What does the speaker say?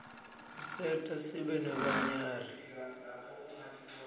tiserta sibe nebanyari